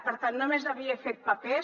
per tant només havia fet papers